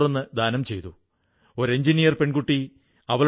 ഇന്ന് അവരെല്ലാം ചേർന്ന് ആയിരക്കണക്കിന് മാസ്കുകളാണ് ഉണ്ടാക്കുന്നത്